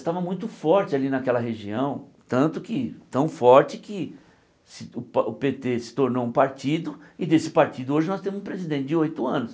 Estava muito forte ali naquela região, tanto que, tão forte que se o pa o Pê Tê se tornou um partido, e desse partido hoje nós temos um presidente de oito anos.